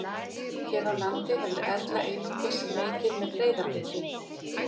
Hér á landi hefur Erla einungis leikið með Breiðabliki.